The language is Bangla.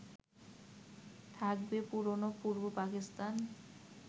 থাকবে পুরনো পূর্ব পাকিস্তান